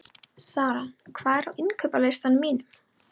Sara, hvað er á innkaupalistanum mínum?